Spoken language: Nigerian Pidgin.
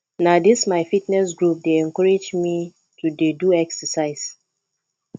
na dis my fitness group dey encourage me to dey do exercise